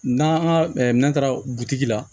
N'an ka n'an taara butigi la